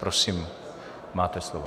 Prosím, máte slovo.